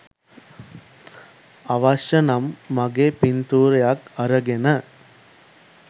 අවශ්‍ය නම් මගේ පින්තූරයක් අරගෙන